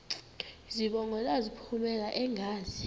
zibongo zazlphllmela engazi